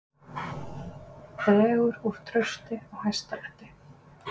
Dregur úr trausti á Hæstarétti